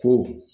Ko